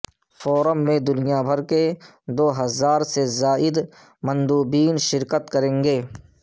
forum میں دنیا بھر کے دو ہزار سے زائد مندوبین شرکت کریں گے